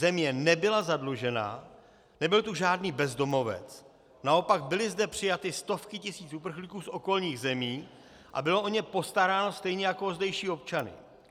Země nebyla zadlužena, nebyl tu žádný bezdomovec, naopak byly zde přijaty stovky tisíc uprchlíků z okolních zemí a bylo o ně postaráno stejně jako o zdejší občany.